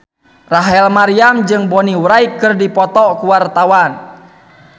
Rachel Maryam jeung Bonnie Wright keur dipoto ku wartawan